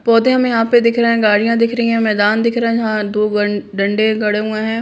पौधे हमें यहाँ पे दिख रहे हैं गाड़ियां दिख रही हैं मैदान दिख रहा है यहाँ दो गन डंडे गड़े हुए है।